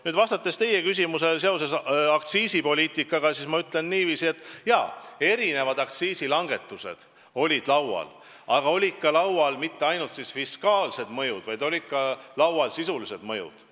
Nüüd, vastates teie küsimusele aktsiisipoliitika kohta, ma ütlen niiviisi, et jaa, erinevad aktsiisilangetused olid laual, aga laual polnud mitte ainult nende fiskaalsed mõjud, vaid ka sisulised mõjud.